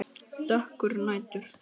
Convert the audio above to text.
Dökkur nætur